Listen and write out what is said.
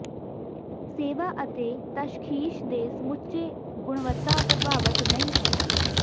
ਸੇਵਾ ਅਤੇ ਤਸ਼ਖੀਸ ਦੇ ਸਮੁੱਚੇ ਗੁਣਵੱਤਾ ਪ੍ਰਭਾਵਿਤ ਨਹੀ ਹੈ